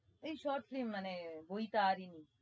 এই short film মানে বৈতারিণী